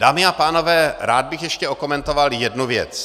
Dámy a pánové, rád bych ještě okomentoval jednu věc.